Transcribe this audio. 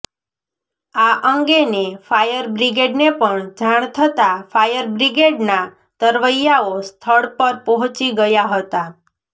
આ અંગેને ફાયર બ્રિગેડને પણ જાણ થતાં ફાયર બ્રિગેડના તરવૈયાઓ સ્થળ પર પહોચી ગયા હતા